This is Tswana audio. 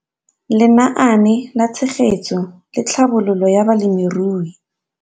Lenaane la Tshegetso le Tlhabololo ya Balemirui